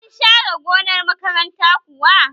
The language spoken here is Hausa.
Sun share gonar makaranta kuwa?